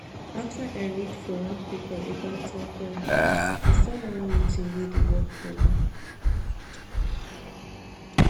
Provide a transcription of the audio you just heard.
after i read for one paper about time planning i start one new tin wey dey work for me